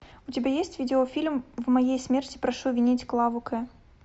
у тебя есть видеофильм в моей смерти прошу винить клаву к